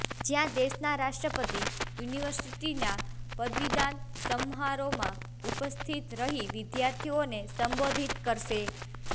જ્યાં દેશના રાષ્ટ્રપતિ યુનિવર્સિટીનાં પદવીદાન સમારોહમાં ઉપસ્થિત રહી વિદ્યાર્થીઓને સંબોધતિ કરશે